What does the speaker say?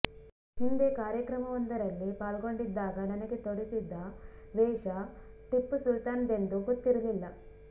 ಹಿಂದೆ ಕಾರ್ಯಕ್ರಮವೊಂದರಲ್ಲಿ ಪಾಲ್ಗೊಂಡಿದ್ದಾಗ ನನಗೆ ತೊಡಿಸಿದ್ದ ವೇಷ ಟಿಪ್ಪು ಸುಲ್ತಾನ್ದೆಂದು ಗೊತ್ತಿರಲಿಲ್ಲ